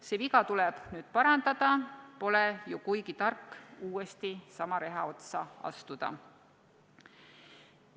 See viga tuleb nüüd parandada, pole ju kuigi tark uuesti sama reha otsa astuda.